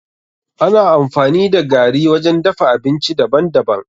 Ana amfani da gari wajen dafa abinci daban daban.